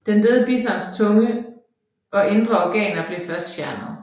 Den døde bisons tunge og indre organer blev først fjernet